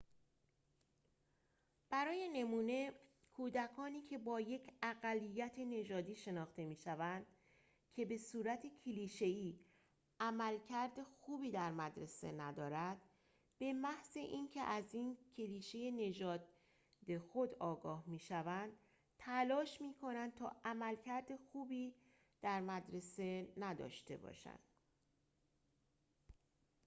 برای نمونه کودکانی که با یک اقلیت‌نژادی شناخته می‌شوند که به‌صورت کلیشه‌ای عملکرد خوبی در مدرسه ندارد به‌محض اینکه از این کلیشه نژاد خود آگاه می‌شوند تلاش می‌کنند تا عملکرد خوبی در مدرسه نداشته باشند